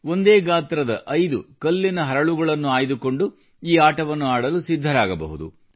ಒಂದೇ ಗಾತ್ರದ ಐದು ಕಲ್ಲಿನ ಹರಳುಗಳನ್ನು ಆಯ್ದುಕೊಂಡು ಈ ಆಟವನ್ನು ಆಡಲು ಸಿದ್ಧರಾಗಬಹುದು